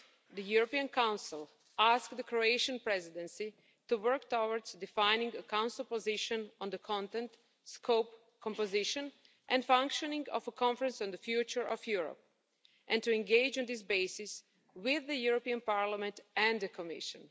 The European Council asked the Croatian Presidency to work towards defining a Council position on the content, scope, composition and functioning of a Conference on the Future of Europe and to engage on this basis with the European Parliament and the Commission.